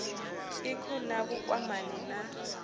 ik hu na vhukwamani na